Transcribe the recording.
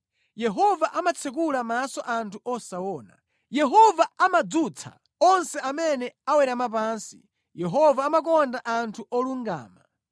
Yehova amatsekula maso anthu osaona, Yehova amadzutsa onse amene awerama pansi, Yehova amakonda anthu olungama.